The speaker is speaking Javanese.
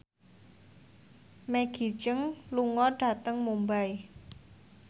Maggie Cheung lunga dhateng Mumbai